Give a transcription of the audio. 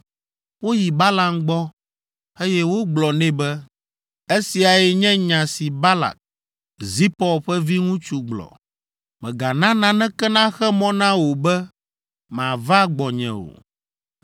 Woyi Balaam gbɔ, eye wogblɔ nɛ be, “Esiae nye nya si Balak, Zipɔr ƒe viŋutsu gblɔ, ‘Mègana naneke naxe mɔ na wò be màva gbɔnye o,